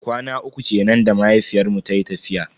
Kwana uku kenan da mahaifiyar mu tayi tafiya.